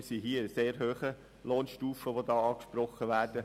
Wir befinden uns in sehr hohen Lohnstufen, die hier angesprochen werden.